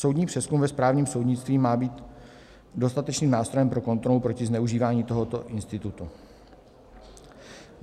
Soudní přezkum ve správním soudnictví má být dostatečným nástrojem pro kontrolu proti zneužívání tohoto institutu.